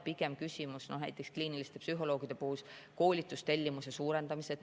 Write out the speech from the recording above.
Näiteks kliiniliste psühholoogide puhul on küsimus pigem koolitustellimuse suurendamises.